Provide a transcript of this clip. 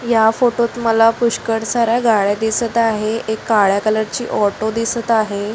या फोटो त मला पुष्कळ सार्‍या गाड्या दिसत आहे एक काळ्या कलर ची ऑटो दिसत आहे.